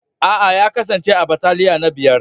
Aa, ya kasance a'bataliya na biyar.